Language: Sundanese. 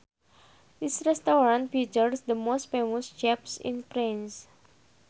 This restaurant features the most famous chefs in France